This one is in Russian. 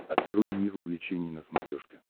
открой мир увлечений на смотрешке